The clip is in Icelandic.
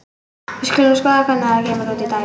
Við skulum skoða hvernig þetta kemur út í dæmi.